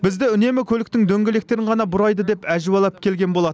бізді үнемі көліктің дөңгелектерін ғана бұрайды деп әжуалап келген болатын